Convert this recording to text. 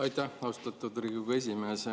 Aitäh, austatud Riigikogu esimees!